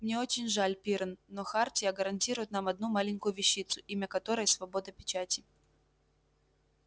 мне очень жаль пиренн но хартия гарантирует нам одну маленькую вещицу имя которой свобода печати